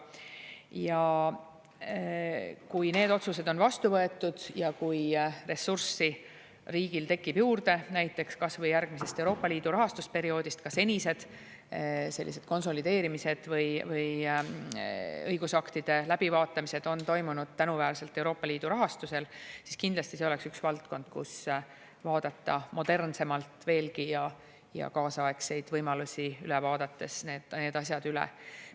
Ja kui need otsused on vastu võetud ja kui riigil tekib ressurssi juurde – näiteks kas või järgmisest Euroopa Liidu rahastusperioodist, ka senised konsolideerimised või õigusaktide läbivaatamised on toimunud tänuväärselt Euroopa Liidu rahastusel –, siis kindlasti see oleks üks valdkond, kus vaadata modernsemalt ja kaasaegseid võimalusi need asjad üle.